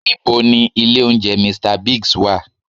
Ní bo ni ilé oúnjẹ "Mr Biggs" wà?